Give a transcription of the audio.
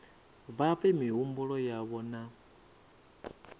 vha fhe mihumbulo yavho na